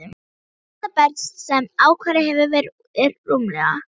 Elsta berg, sem ákvarðað hefur verið, er rúmlega